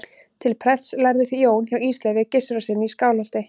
til prests lærði jón hjá ísleifi gissurarsyni í skálholti